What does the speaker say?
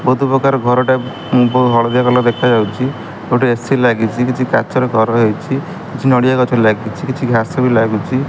ବୋହୁତ୍ ପକାର ଘରଟା ଉଁ ବ ହଳଦିଆ କଲର୍ ଦେଖାଯାଉଚି ଗୋଟେ ଏ_ସି ଲାଗିଚି କିଛି କାଚର ଘର ହେଇଚି କିଛି ନଡ଼ିଆ ଗଛ ଲାଗିଚି କିଛି ଘାସ ବି ଲାଗୁଚି।